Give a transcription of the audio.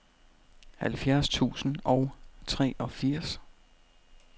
halvfjerds tusind og treogfirs